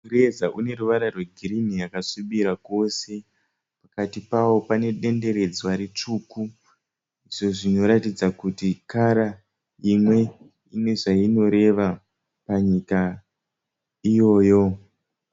Mureza une ruvara rwegirinhi yakasvibira kose. Pakati pawo pane denderedzwa ritsvuku. Izvo zvinoratidza kuti kara imwe ine zvainoreva panyika iyoyo.